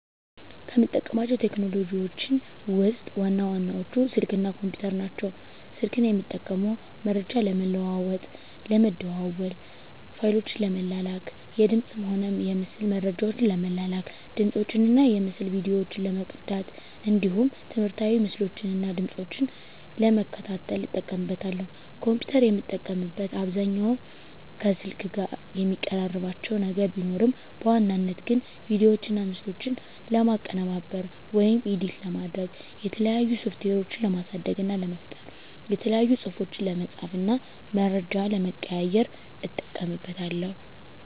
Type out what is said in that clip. ከምጠቀማቸው ቴክኖሎጂዎችን ውስጥ ዋና ዋናዎቹ ስልክ እና ኮምፒተር ናቸው። ስልክን የምጠቀመው መረጃ ለመለዋዎጥ ለመደዋዎል፣ ፋይሎችን ለመላላክ፣ የድምፅንም ሆነ የምስል መረጃዎችን ለመላላክ፣ ድምፆችን እና የምስል ቪዲዮዎችን ለመቅዳት እንዲሁም ትምህርታዊ ምስሎችን እና ድምጾችን ለመከታተል እጠቀምበታለሁ። ኮምፒተርን የምጠቀምበት አብዛኛውን ከስልክ ጋር የሚቀራርባቸው ነገር ቢኖርም በዋናነት ግን ቪዲዮዎችና ምስሎችን ለማቀነባበር (ኤዲት) ለማድረግ፣ የተለያዩ ሶፍትዌሮችን ለማሳደግ እና ለመፍጠር፣ የተለያዩ ፅሁፎችን ለመፃፍ እና መረጃ ለመቀያየር ... እጠቀምበታለሁ።